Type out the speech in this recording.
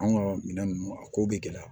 An ka minɛn ninnu a ko bɛ gɛlɛya